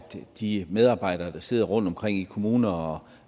de medarbejdere der sidder rundt omkring i kommuner og